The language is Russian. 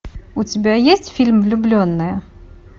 у тебя есть фильм влюбленные